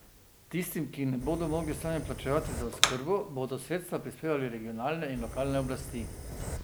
Tistim, ki ne bodo mogli sami plačevati za oskrbo, bodo sredstva prispevale regionalne in lokalne oblasti.